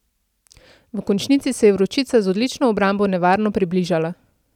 V končnici se je Vročica z odlično obrambo nevarno približala.